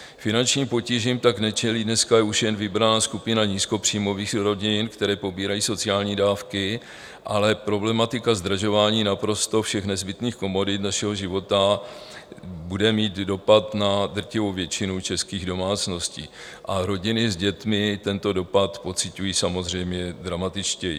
Finančním potížím tak nečelí dneska už jen vybraná skupina nízkopříjmových rodin, které pobírají sociální dávky, ale problematika zdražování naprosto všech nezbytných komodit našeho života bude mít dopad na drtivou většinu českých domácností, a rodiny s dětmi tento dopad pociťují samozřejmě dramatičtěji.